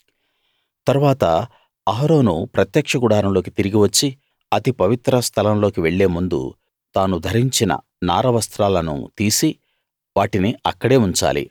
తరువాత అహరోను ప్రత్యక్ష గుడారంలోకి తిరిగి వచ్చి అతి పవిత్ర స్థలం లోకి వెళ్లే ముందు తాను ధరించిన నార వస్త్రాలను తీసి వాటిని అక్కడే ఉంచాలి